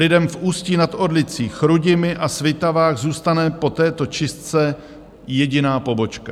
Lidem v Ústí nad Orlicí, Chrudimi a Svitavách zůstane po této čistce jediná pobočka.